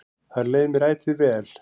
Þar leið mér ætíð vel.